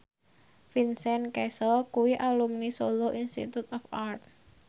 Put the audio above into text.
Vincent Cassel kuwi alumni Solo Institute of Art